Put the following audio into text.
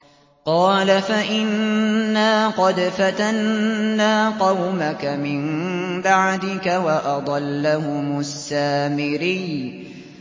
قَالَ فَإِنَّا قَدْ فَتَنَّا قَوْمَكَ مِن بَعْدِكَ وَأَضَلَّهُمُ السَّامِرِيُّ